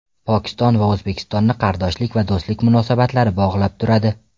Pokiston va O‘zbekistonni qardoshlik va do‘stlik munosabatlari bog‘lab turadi.